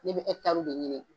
Ne bɛ ekitaariw de ɲini.